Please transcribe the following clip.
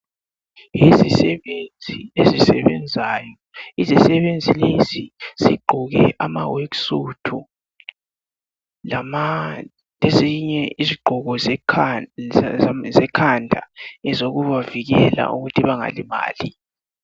Isisebenzi esisebenzayo. Isisebenzi lesi sigqoke ama worksuit. Lesinye isigqoko sekhanda. Ezokubavikela ukuthi bangalimali.